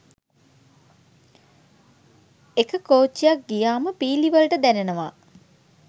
එක කෝච්චියක් ගියාම පීලි වලට දැනෙනවා